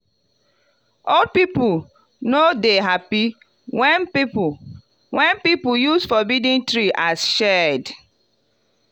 old people no dey happy when people when people use forbidden tree as shade.